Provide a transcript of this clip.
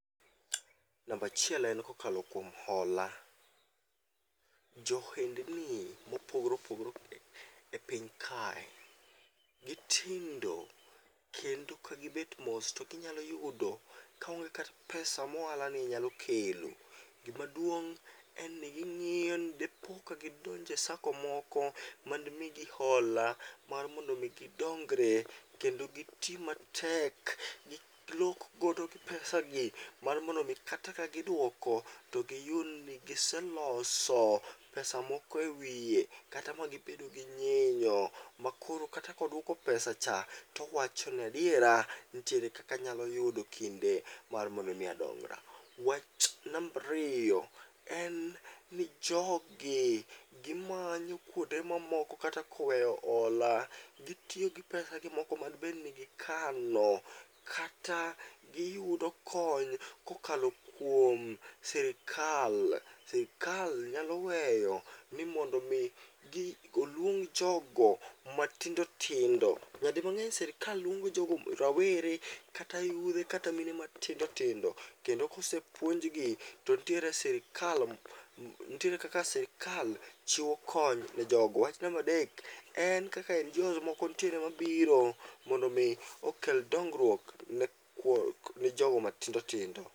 Nambachiel en kokalo kuom hola: jo ohendni mopogore opogore e piny kae, gitindo kendo ka gibet mos to ginyalo yudo kaonge kata pesa moala ni nyalo kelo. Gimaduong' en ni ging'iyo ni depo ka gidonge sako moko ma demigi hola mar mondo mi gidongre kendo giti matek. Gilok godo gi pesa gi mar mondo mi kata ka giduoko to giyud ni giseloso pesa moko e wiye. Kata ma gibedo gi nyinyo ma koro kata kodwoko pesa cha, towacho nadiera nitiere kaka nyalo yudo kinde mar mondo mi adongra. Wach nambariyo en ni jogi gimanyo kuonde ma moko kata koweyo hola, gitiyo gi pesa gi moko madbed ni gikano. Kata giyudo kony kokalo kuom sirikal, sirikal nyalo weyo ni mondo mi gi oluong jogo matindo tindo. Nyadi mang'eny sirikal luongo jogo rawere kata yudhe kata mine matindo tindo. Kendo kosepuonjgi to nitiere sirikal, nitiere kaka sirikal chiwo kony ne jogo. Wach nambadek, en kaka en jon moko nitiere mabiro mondo mi okel dongruok ne jogo matindo tindo.